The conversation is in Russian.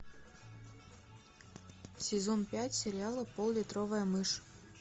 сезон пять сериала поллитровая мышь